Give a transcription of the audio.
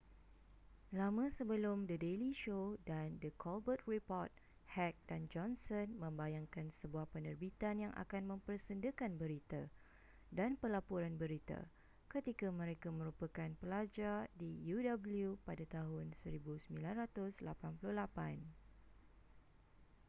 lama sebelum the daily show dan the colbert report heck dan johnson membayangkan sebuah penerbitan yang akan mempersendakan berita-dan pelaporan berita-ketika mereka merupakan pelajar di uw pada tahun 1988